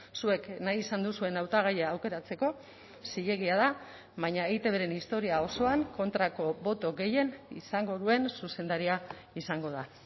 zuek nahi izan duzuen hautagaia aukeratzeko zilegia da baina eitbren historia osoan kontrako boto gehien izango duen zuzendaria izango da